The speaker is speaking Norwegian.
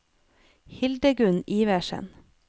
Hildegunn Iversen